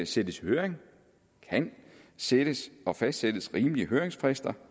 sendes i høring kan sættes og fastsættes rimelige høringsfrister